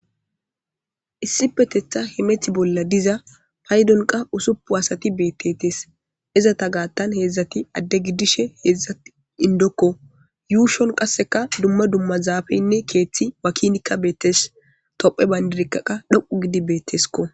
Issipetetha hemeto bolla diza paydonza usuppu asati beettetes. izata gaattan heedzdzati adde giddishe heedzdzat indokko yuushon qasseka dumma dumma zaafeynne keeththi wakinikka beettes. tophphiya bayndirika dhoqu gidi beettesko.